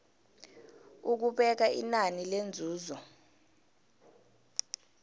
ukubeka inani lenzuzo